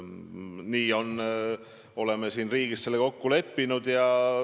Nii oleme siin riigis selle kokku leppinud.